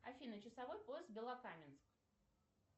афина часовой пояс белокаменск